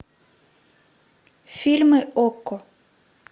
фильмы окко